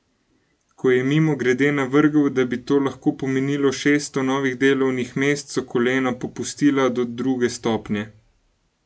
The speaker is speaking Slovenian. Ko je mimogrede navrgel, da bi to lahko pomenilo šeststo novih delovnih mest, so kolena popustila do druge stopnje.